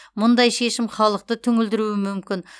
мұндай шешім халықты түңілдіруі мүмкін